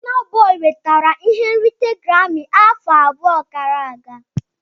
Bona boi nwetara ihe nrite Garami afọ abụọ gara aga.